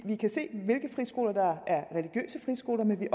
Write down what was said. vi kan se hvilke friskoler der er religiøse friskoler men vi